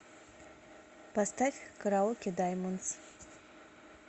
поставь караоке даймондс